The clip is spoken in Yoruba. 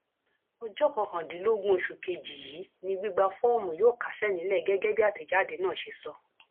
ọjọ kọkàndínlógún oṣù kejì yìí ni gbígba fọọmù yóò kásẹ nílẹ gẹgẹ bí àtẹjáde náà ṣe sọ